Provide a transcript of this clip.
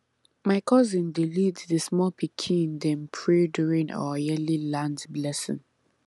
my cousin dey lead the small pikin dem pray during our yearly land blessing